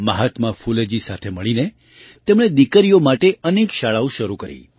મહાત્મા ફૂલેજી સાથે મળીને તેમણે દીકરીઓ માટે અનેક શાળાઓ શરૂ કરી